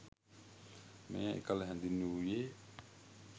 මෙය එකල හැඳින්වූයේ